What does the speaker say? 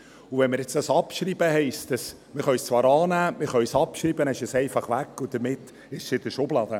Wenn wir das jetzt abschreiben, heisst das: Wir können es zwar annehmen, wir können es abschreiben, dann ist es einfach weg und damit in der Schublade.